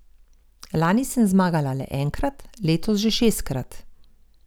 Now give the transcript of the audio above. Lani sem zmagala le enkrat, letos že šestkrat.